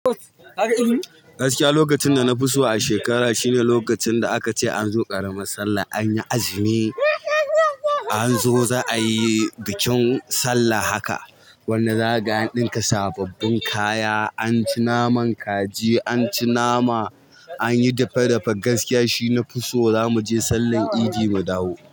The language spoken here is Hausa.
Gaskiya lokacin da na fi so a shekara shine lokacin da aka ce an zo ƙaramar sallah. An yi azumi, an zo za a yi bikin sallah haka. Wanda za ka ga an ɗinka sababbin kaya. An ci naman kaji, an ci nama, an yi dafe-dafe. Gaskiya shine na fi so za mu je sallahn idi mu dawo.